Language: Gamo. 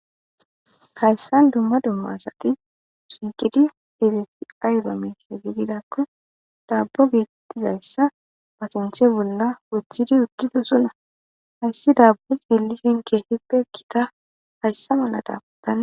Hayssan dumma dumma asati shiqqidi aybba mishshe gididako daabo gettetizayssa ba sinththa bolla woththidi uttidosona hayssi dabboy xellishin kehippe giita hayssa mala dabbo tani---